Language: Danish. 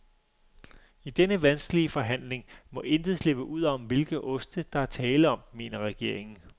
I denne vanskelige forhandling, må intet slippe ud om, hvilke oste, der er tale om, mener regeringen.